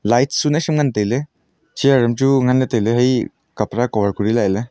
light suna shu ngan tailey chair am chu nganley tailey haye kapra cover kori lah e ley.